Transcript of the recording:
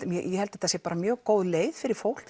ég held að þetta sé mjög góð leið fyrir fólk